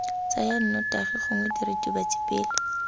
tsaya nnotagi gongwe diritibatsi pele